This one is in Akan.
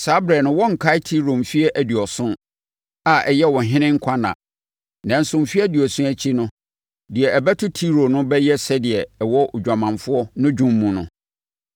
Saa ɛberɛ no wɔrenkae Tiro mfeɛ aduɔson, a ɛyɛ ɔhene nkwanna. Nanso mfeɛ aduɔson akyi no, deɛ ɛbɛto Tiro no bɛyɛ sɛdeɛ ɛwɔ odwamanfoɔ no dwom mu no: